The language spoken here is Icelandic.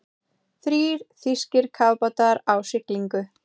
Þrír þýskir kafbátar á siglingu.